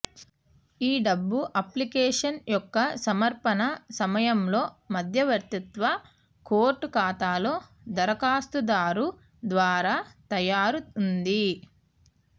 ఈ డబ్బు అప్లికేషన్ యొక్క సమర్పణ సమయంలో మధ్యవర్తిత్వ కోర్టు ఖాతాలో దరఖాస్తుదారు ద్వారా తయారు ఉంది